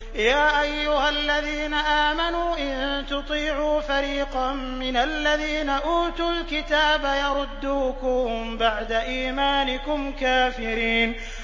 يَا أَيُّهَا الَّذِينَ آمَنُوا إِن تُطِيعُوا فَرِيقًا مِّنَ الَّذِينَ أُوتُوا الْكِتَابَ يَرُدُّوكُم بَعْدَ إِيمَانِكُمْ كَافِرِينَ